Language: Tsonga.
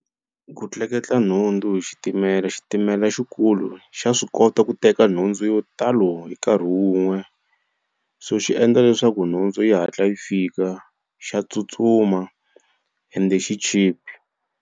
Ku tleketla nhundzu hi xitimela xitimela xikulu xa swi kota ku teka nhundzu yo talo hi nkarhi wun'we so xi endla leswaku nhundzu yi hatla yi fika xa tsutsuma ende xi cheap.